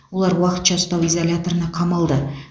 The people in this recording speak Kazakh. олар уақытша ұстау изоляторына қамалды